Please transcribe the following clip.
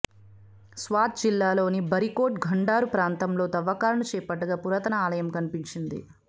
స్వాత్ జిల్లాలోని బరీకోట్ ఘుండారు ప్రాంతంలో తవ్వకాలను చేపట్టగా పురాతన ఆలయం కనిపించింది